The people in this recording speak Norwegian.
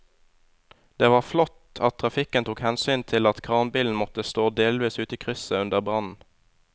Det var flott at trafikken tok hensyn til at kranbilen måtte stå delvis ute i krysset under brannen.